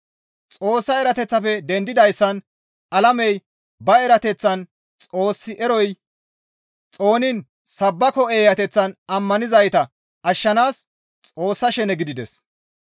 Xoossa erateththafe dendidayssan alamey ba erateththan Xoos eroy xooniin sabbako eeyateththan ammanizayta ashshanaas Xoossa shene gidides.